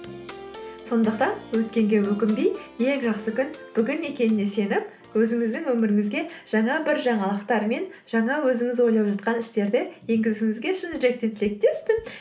сондықтан өткенге өкінбей ең жақсы күн бүгін екеніне сеніп өзіңіздің өміріңізге жаңа бір жаңалықтар мен жаңа өзіңіз ойлап жатқан істерді енгізуіңізге шын жүректен тілектеспін